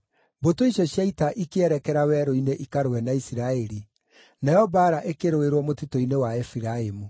Mbũtũ icio cia ita ikĩerekera werũ-inĩ ikarũe na Isiraeli, nayo mbaara ĩkĩrũĩrwo mũtitũ-inĩ wa Efiraimu.